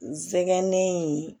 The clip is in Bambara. N sɛgɛnnen